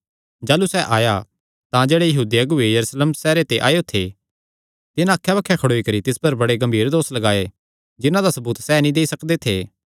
जाह़लू सैह़ आया तां जेह्ड़े यहूदी अगुऐ यरूशलेम सैहरे ते आएयो थे तिन्हां अक्खै बक्खे खड़ोई करी तिस बड़े गम्भीर दोस लगाये जिन्हां दा सबूत सैह़ नीं देई सकदे थे